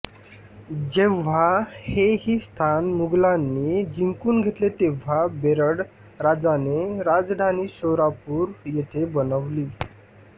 जेव्हा हेही स्थान मुघलांनी जिंकून घेतले तेव्हा बेरड राजाने राजधानी शोरापुर येथे बनवली